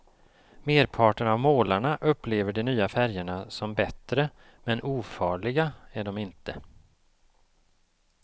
Merparten av målarna upplever de nya färgerna som bättre men ofarliga är de inte.